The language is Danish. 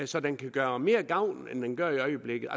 så den kan gøre mere gavn end den gør i øjeblikket